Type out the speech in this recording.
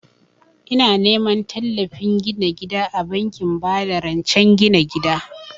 Ina neman tallafin gina gida a bankin ba da rancen gina gida